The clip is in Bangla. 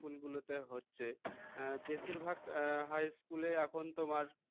school গুলোতে হচ্ছে বেশিরভাগ high school এ এখন তোমার